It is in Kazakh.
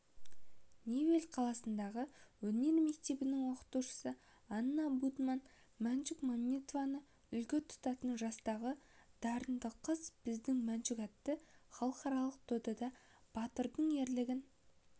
невель қаласындағы өнер мектебінің оқушысы анна бутман мәншүк мәметованы үлгі тұтады жастағы дарынды қыз біздің мәншүк атты халықаралық додада батырдың ерлігін